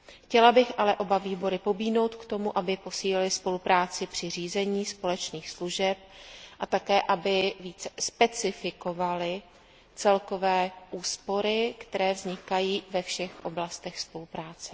Chtěla bych ale oba výbory pobídnout k tomu, aby posílily spolupráci při řízení společných služeb a také aby více specifikovaly celkové úspory, které vznikají ve všech oblastech spolupráce.